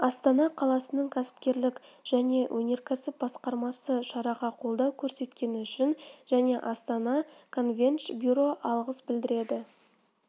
астана қаласының кәсіпкерлік және өнеркәсіп басқармасы шараға қолдау көрсеткені үшін және астана конвенш бюро алғыс білдіреді